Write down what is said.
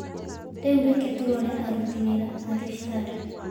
Rĩu reke tũrore aruti wĩra a thibitarĩ